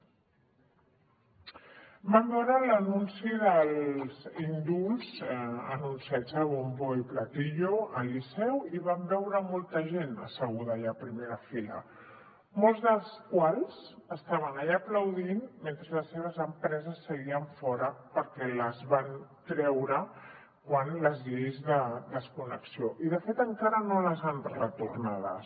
vam veure l’anunci dels indults anunciats a bombo y platillo al liceu i vam veure molta gent asseguda allà a primera fila molts dels quals estaven allà aplaudint mentre les seves empreses seguien fora perquè les van treure amb les lleis de desconnexió i de fet encara no les han retornades